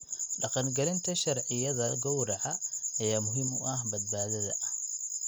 Dhaqangelinta sharciyada gowraca ayaa muhiim u ah badbaadada.